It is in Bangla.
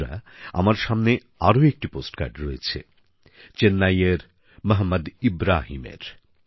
বন্ধুরা আমার সামনে আরো একটি পোস্ট কার্ড রয়েছে চেন্নাইয়ের মোহাম্মদ ইব্রাহিমের